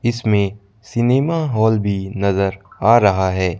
इसमें cinema hall भी नजर आ रहा हैं।